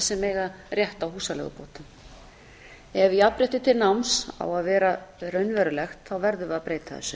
sem eiga rétt á húsaleigubótum ef jafnrétti til náms á að vera raunverulegt verðum við að breyta þessu